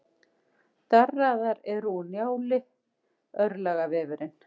Darraðar er úr Njálu, örlagavefurinn.